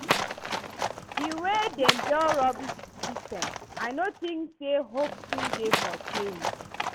di way dem don rubbish di system, i no think say hope still dey for change.